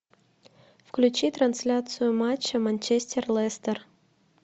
включи трансляцию матча манчестер лестер